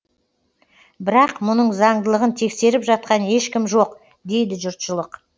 бірақ мұның заңдылығын тексеріп жатқан ешкім жоқ дейді жұртшылық